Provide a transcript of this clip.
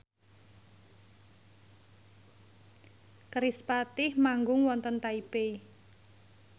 kerispatih manggung wonten Taipei